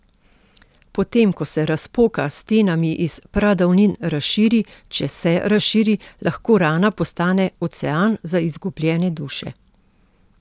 Potem, ko se razpoka s stenami iz pradavnin razširi, če se razširi, lahko rana postane ocean za izgubljene duše.